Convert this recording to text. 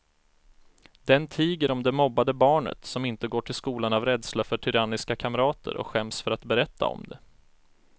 Den tiger om det mobbade barnet som inte går till skolan av rädsla för tyranniska kamrater och skäms för att berätta om det.